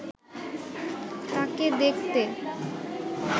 তাঁকে দেখতে